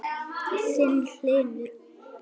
Þinn, Hlynur.